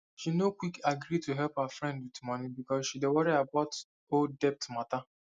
she no quick agree to help her friend with money because she dey worry about old debt matter